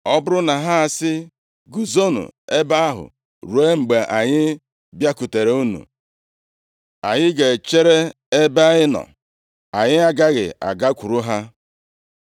Ọ bụrụ na ha asị, ‘Guzonụ ebe ahụ ruo mgbe anyị bịakwutere unu,’ anyị ga-echere ebe anyị nọ, anyị agaghị agakwuru ha.